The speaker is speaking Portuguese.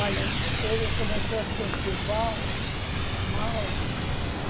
Olha, ele começou a se sentir bom, mal.